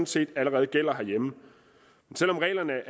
set allerede gælder herhjemme selv om reglerne